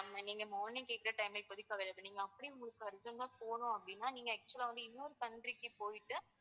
நீங்க morning கேக்குற time ல இப்போதைக்கு available இல்ல. அப்படியும் உங்களுக்கு urgent ஆ போகணும் அப்படின்னா நீங்க actual லா வந்து இன்னொரு country க்கு போயிட்டு